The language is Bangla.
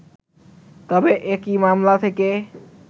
তবে একই মামলা থেকে